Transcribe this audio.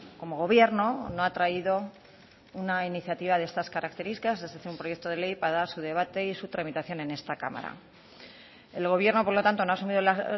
como gobierno no ha traído una iniciativa de estas características un proyecto de ley para su debate y su tramitación en esta cámara el gobierno por lo tanto no ha asumido la